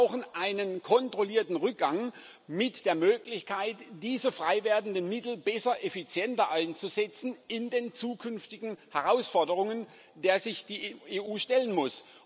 Aber wir brauchen einen kontrollierten Rückgang mit der Möglichkeit, diese freiwerdenden Mittel besser, effizienter einzusetzen in den zukünftigen Herausforderungen, denen sich die EU stellen muss.